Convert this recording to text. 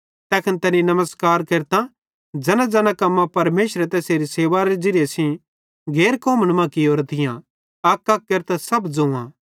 तैखन तैनी नमस्कार केरतां ज़ैनाज़ैना कम्मां परमेशरे तैसेरी सेवारे ज़िरीये सेइं गैर कौमन मां कियोरां थी अकअक केरतां सब ज़ोआं